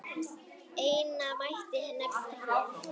Eina mætti nefna hér.